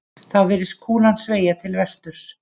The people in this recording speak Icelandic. Þá virðist kúlan sveigja til vesturs.